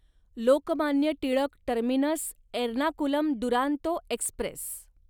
Lokmanya Tilak terminus Ernakulam Duronto Express